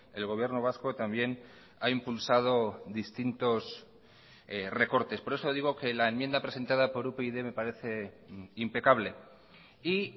el gobierno vasco también ha impulsado distintos recortes por eso digo que la enmienda presentada por upyd me parece impecable y